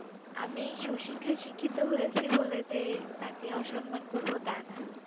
আমি সুশিক্ষায় শিক্ষিত হয়েছি বলে যে তাকে অসম্মান করবো তা না